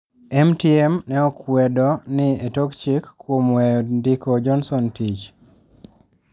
MTM ne okwedo ni etok chik kuom weyo ndiko Johnson tich